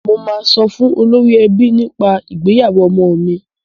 Mo máa sọ fún olórí ẹbí nípa ìgbéyàwó ọmọ mi.